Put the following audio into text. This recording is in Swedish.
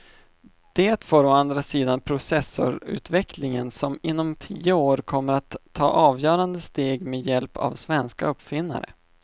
Det får å andra sidan processorutvecklingen som inom tio år kommer att ta avgörande steg med hjälp av svenska uppfinnare.